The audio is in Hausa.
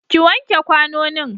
ki wanke kwanonin!